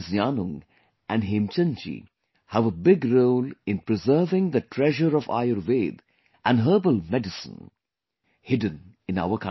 Yanung and Hemchand ji have a big role in preserving the treasure of Ayurveda and herbal medicine hidden in our country